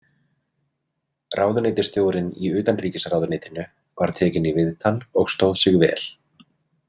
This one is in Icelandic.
Ráðuneytisstjórinn í utanríkisráðuneytinu var tekinn í viðtal og stóð sig vel.